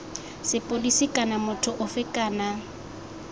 sepodisi kana motho ofe kana